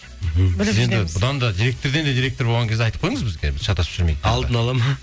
бұдан да директорден де директор болған кезде айтып қойыңыз бізге шатасып жүрмейік алдына ала ма